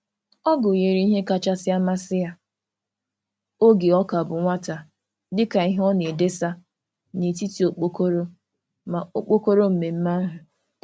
Ọ gụnyere ihe kachasị amasị ya oge ọ ka bụ nwata dị ka ihe a na-edesa n'etiti okpokoro maka okpokoro mmemme ahụ.